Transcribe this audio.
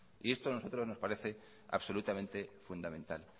y esto a nosotros nos parece absolutamente fundamental